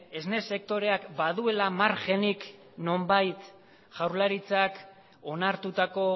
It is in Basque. esne sektoreak baduela margenik nonbait jaurlaritzak onartutako